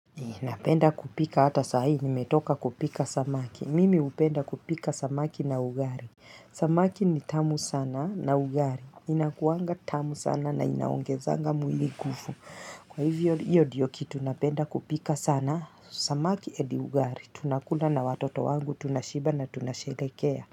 Napenda kupika ata saa hii nimetoka kupika samaki. Mimi upenda kupika samaki na ugari. Samaki ni tamu sana na ugari. Inakuanga tamu sana na inaongezanga mwili gufu. Kwa hivyo iyo diyo kitu napenda kupika sana. Samaki edi ugari. Tunakula na watoto wangu. Tunashiba na tunasherekea.